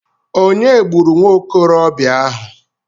Ònye gburu nwa okorobịa ahụ?